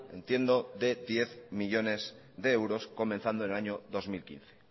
entiendo de diez millónes de euros comenzando en el año dos mil quince